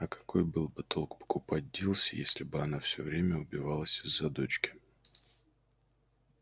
а какой был бы толк покупать дилси если бы она всё время убивалась из-за дочки